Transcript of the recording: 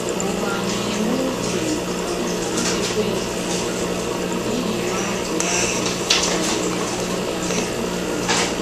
Ụwa na - eme uche um Ekwensu ’ihi na ọ bụ ya bụ um chi ya. um